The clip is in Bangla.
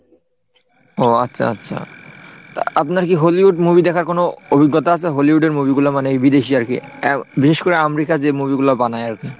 ও আচ্ছা আচ্ছা তা আপনার কি Hollywood movie দেখার কোন অভিজ্ঞতা আছে? Hollywood এর movie গুলো মানে এই বিদেশি আর কি, বিশেষ করে আমেরিকায় যে movie গুলো বানায় আর কি?